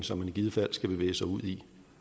som man i givet fald bevæger sig ud i